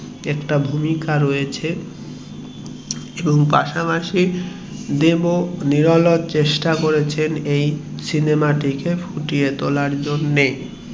এর একটা ভূমিকা রয়েছে এবং পাশাপাশি দেব ও নিরলস চেষ্টা করেছেন এই সিনেমা টি কে ফুটিয়ে তোলার জন্যে